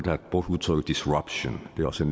har brugt udtrykket disruption det er også